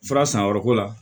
Fara sanyɔrɔ ko la